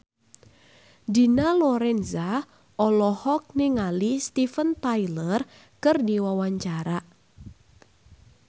Dina Lorenza olohok ningali Steven Tyler keur diwawancara